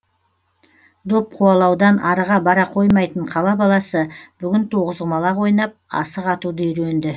доп қуалаудан арыға бара қоймайтын қала баласы бүгін тоғызқұмалақ ойнап асық атуды үйренді